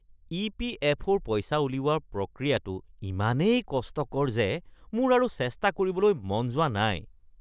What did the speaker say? ই.পি.এফ.অ’ৰ পইচা উলিওৱাৰ প্ৰক্ৰিয়াটো ইমানেই কষ্টকৰ যে মোৰ আৰু চেষ্টা কৰিবলৈ মন যোৱা নাই।